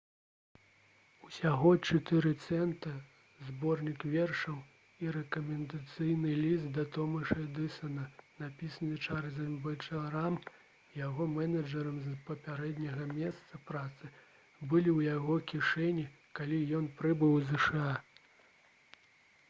усяго 4 цэнты зборнік вершаў і рэкамендацыйны ліст да томаса эдысана напісаны чарльзам бэчаларам яго менеджарам з папярэдняга месца працы былі ў яго кішэні калі ён прыбыў у зша